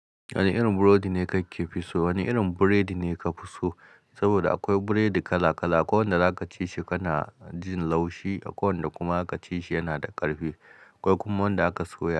Wani irin burodi ne kake fi so? Wani irin burodi ne ka fi so? Saboda akwai burodi kala kala. Akwai wanda zaka ci shi kana jin laushi akwai wanda kuma za ka ci shi yana da ƙarfi. Akwai kuma wanda aka soya.